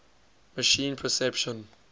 machine perception